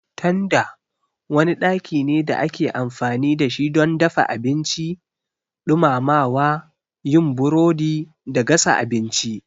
Tanda wani ɗaki ne da ake amfani da shi don dafa abinci, ɗumamawa, yin burodi da gasa abinci.